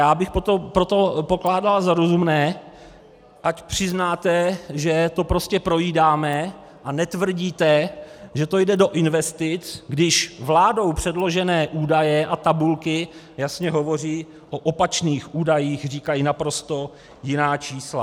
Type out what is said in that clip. Já bych proto pokládal za rozumné, ať přiznáte, že to prostě projídáme, a netvrdíme, že to jde do investic, když vládou předložené údaje a tabulky jasně hovoří o opačných údajích, říkají naprosto jiná čísla.